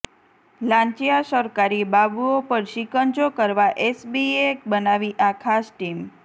લાંચિયા સરકારી બાબુઓ પર સિકંજો કસવા એસીબીએ બનાવી આ ખાસ ટીમ